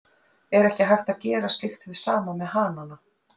Er ekki hægt að gera slíkt hið sama með hanana?